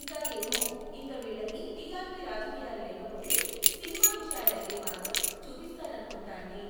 ఇంకా ఏమో ఇంక వీళ్ళకి టీఆర్పీ రాజకీయాలు లేకపోతే సినిమా విషయాలు అయితే మాత్రం చూపిస్తారనుకుంటా అండి